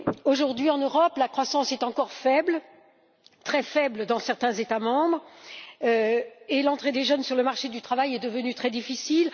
Aujourd'hui, en Europe, la croissance est encore faible, très faible dans certains États membres, et l'entrée des jeunes sur le marché du travail est devenue très difficile.